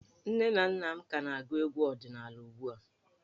Nne na nna m ka na-agụ egwu ọdịnala ugbu a.